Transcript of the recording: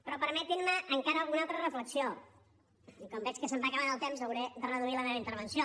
però permetinme encara alguna altra reflexió i com veig que se’m va acabant el temps hauré de reduir la meva intervenció